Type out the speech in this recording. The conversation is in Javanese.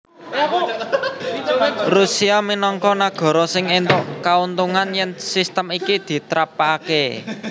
Rusia minangka nagara sing éntuk kauntungan yèn sistem iki ditrapakaké